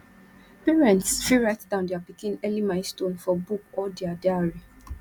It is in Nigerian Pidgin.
parents fit write down their pikin early milestone for book or dia diary